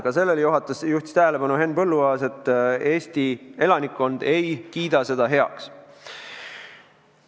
Ka sellele juhtis tähelepanu Henn Põlluaas, et Eesti elanikkond ei kiida seda heaks.